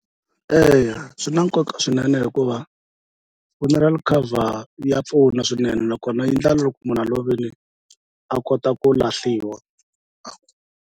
Eya swi na nkoka swinene hikuva funeral cover ya pfuna swinene nakona yi ndla loko munhu a lovele a kota ku lahliwa.